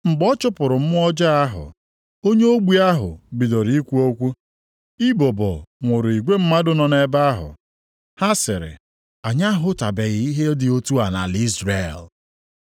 Mgbe ọ chụpụrụ mmụọ ọjọọ ahụ, onye ogbi ahụ bidoro ikwu okwu. Ibubo nwụrụ igwe mmadụ nọ nʼebe ahụ. Ha sịrị, “Anyị ahụtụbeghị ihe dị otu a nʼala Izrel.”